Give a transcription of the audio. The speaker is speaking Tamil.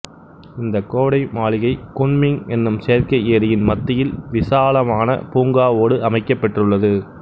இந்த கோடை மாளிகை குன்மிங் என்னும் செயற்கை ஏரியின் மத்தியில் விசாலமான பூங்காவோடு அமைக்கப்பெற்றுள்ளது